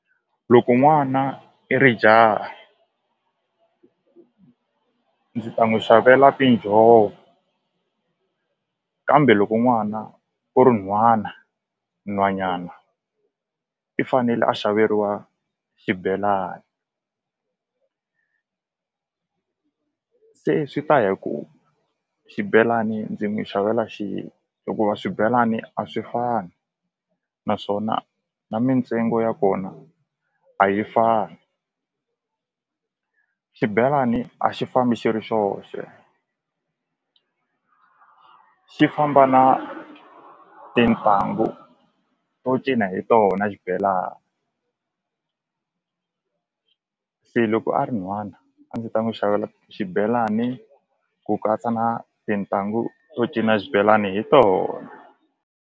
Loko n'wana i ri jahha ndzi ta n'wi xavela tinjhovo kambe loko n'wana u ri nhwana nhwanyana i fanele a xaveriwa xibelani se swi ta ya ku xibelani ndzi n'wi xavela xini hikuva swibelani a swi fani naswona na mintsengo ya kona a yi fani xibelani a xi fambi xi ri xoxe xi famba na tintangu to cina hi tona xibelani se loko a ri nhwana a ndzi ta n'wi xavela xibelani ku katsa na tintanghu to cina xibelani hi tona.